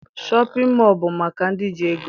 Shọpịn mọọ bụ maka ndị ji ego